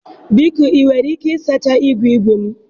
biko ị nwere ike ịsacha igwe igwe m?